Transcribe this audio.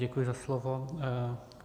Děkuji za slovo.